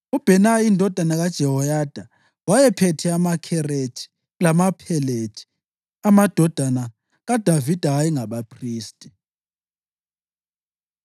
uBhenaya indodana kaJehoyada wayephethe amaKherethi lamaPhelethi; amadodana kaDavida ayengabaphristi.